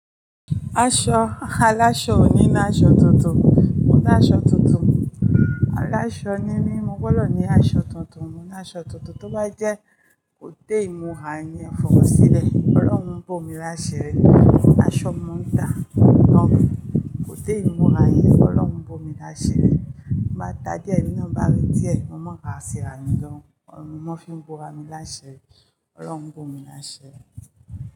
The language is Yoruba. Aṣọ aláṣọ ò ní ní aṣọ tuntun, mo ní aṣọ tuntun. Aláṣọ ní ní mo gbọ́dọ̀ ní aṣọ tuntun, mo ní aṣọ tuntun. Tó bá jẹ́ kò dé ìmúra yẹn fọwọ́ sílẹ̀, Ọlọ́run bó mi láṣi ri. Aṣọ ni mo ń tà, kò dé ìmúra yẹn, Ọlọ́run bó mi láṣẹ rẹ̀. Mo bá ta díẹ̀, ẹmí náà bá rí díẹ̀, mo mọ̀ rá ṣi ra mìi lọrun, wọ́n fi ń bora mi láṣi ri, Ọlọ́run bó mi láṣi ri.